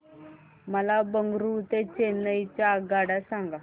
मला बंगळुरू ते चेन्नई च्या आगगाड्या सांगा